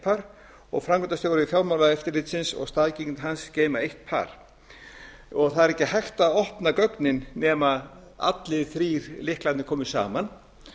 par og framkvæmdastjóri fjármálaeftirlitsins og staðgengill hans geyma eitt par það er ekki hægt að opna gögnin nema allir þrír lyklarnir komi saman